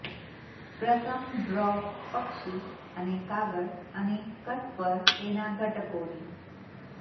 પ્રથમ ડ્રો પક્ષી અને કાગળ અને કટ પર તેના ઘટકોની